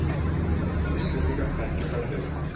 Íslendingar þekkja höllina